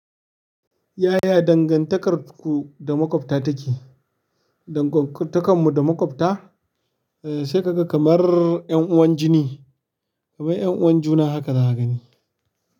Yaya dangantakarku da maƙwabta take? Dangantakarmu da maƙwabta, sai ka ga kamar 'yan'uwan jini, kamar 'yan'uwan juna haka za a gani.